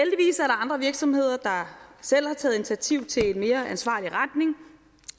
andre virksomheder der selv har taget initiativ til en mere ansvarlig retning